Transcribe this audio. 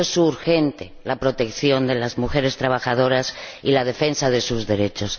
Por eso es urgente la protección de las mujeres trabajadoras y la defensa de sus derechos.